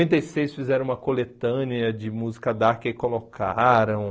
Noventa e seis fizeram uma coletânea de música dark e colocaram.